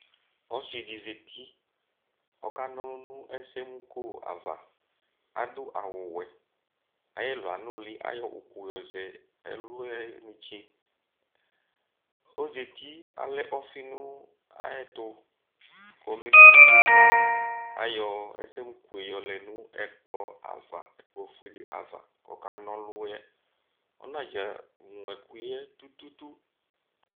Ɔsidi zati ɔkanɔlu nu ɛsɛmuko ava Adu awu ɔwɛ Ayɛloyɛ anuli kayɔku yɔzɛ' Ɔzati alɛ ɔfi nu ayɛtu ayɔ ɛsɛmuko yɛ yɔlɛ nu ɛkplɔ ofuele ava kɔkana ɔluyɛ Ɔnadeglo ɛkuyɛ tututu